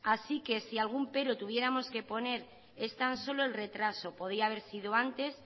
así que si algún pero tuviéramos que poner es tan solo el retraso podía haber sido antes